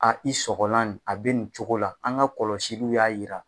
A i sɔgɔlan nin a bɛ nin cogo la an ka kɔlɔsiliw y'a yira.